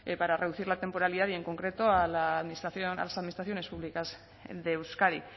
para reducir la temporalidad y en concreto a la administración a las administraciones públicas de euskadi